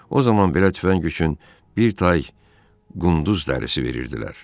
O zaman belə tüfəng üçün bir tay qunduz dərisi verirdilər.